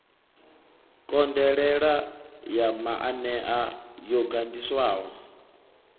konḓelela ya maanea yo ganḓiswaho